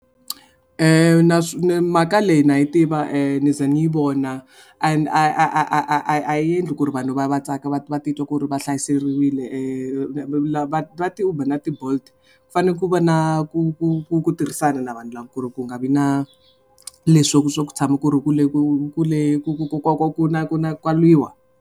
Na mhaka leyi na yi tiva ni ze ni yi vona and a a a a a a a endli ku ri vanhu va va tsaka va va titwa ku ri va hlayiseriwile lava ti-uber na ti-bolt ku fanele ku va na ku ku ku ku tirhisana na vanhu lava ku ri ku nga vi na leswiya swa ku tshama ku ri kule ku kule ku ku ku na ku na ka lwiwa.